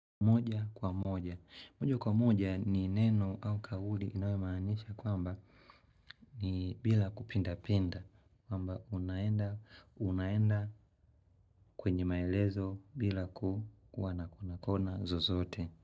Moja kwa moja. Mojo kwa moja ni neno au kauli inayomaanisha kwamba ni bila kupindapinda. Kwamba unaenda, unaenda kwenye maelezo bila kuwa na kona zozote.